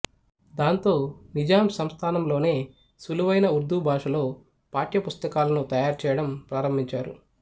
దాంతో నిజాం సంస్థానంలోనే సులువైన ఉర్దూ భాషలో పాఠ్య పుస్తకాలను తయారుచేయడం ప్రారంభించారు